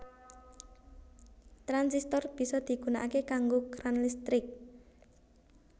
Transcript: Transistor bisa digunakake kanggo kran listrik